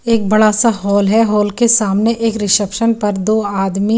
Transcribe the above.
एक बड़ा सा हॉल है हॉल के सामने एक रिसेप्शन पर दो आदमी --